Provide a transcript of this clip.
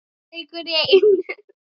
Einn leikur í einu.